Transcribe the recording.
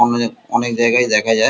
অনে অনেক জায়গায় দেখা যায়।